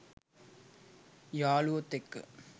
යාළුවොත් එක්ක.